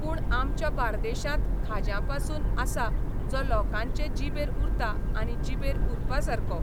पूण आमच्या बार्देशांत खाज्यां म्हणून आसा जो लोकांचे जिबेर उरता आनी जिबेर उरपा सारको.